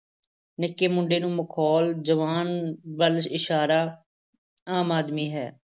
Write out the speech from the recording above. ਨਿੱਕੇ ਮੁੰਡੇ ਨੂੰ ਮਖ਼ੌਲ, ਜਵਾਨ ਵੱਲ ਇਸ਼ਾਰਾ ਆਮ ਆਦਮੀ ਹੈ।